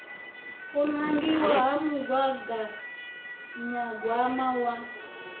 u nangiwa ha mugaganyagwama wa